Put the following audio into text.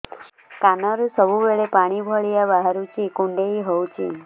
କାନରୁ ସବୁବେଳେ ପାଣି ଭଳିଆ ବାହାରୁଚି କୁଣ୍ଡେଇ ହଉଚି